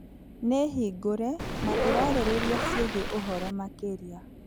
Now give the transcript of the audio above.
Nĩ hingũre na ĩrarĩrĩria ciĩgiĩ ũhoro makĩria .